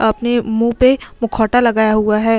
अपने मुँह पे मुखौटा लगा हुआ है।